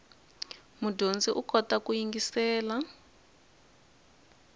mudyondzi u kota ku yingiselela